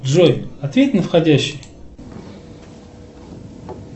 джой ответь на входящий